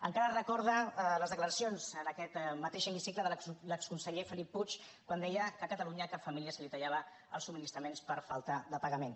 encara recordo les declaracions en aquest mateix hemicicle de l’exconseller felip puig quan deia que a catalunya a cap família se li tallaven els subministraments per falta de pagament